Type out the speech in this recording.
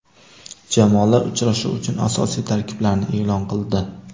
Jamoalar uchrashuv uchun asosiy tarkiblarini e’lon qildi.